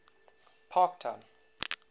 parktown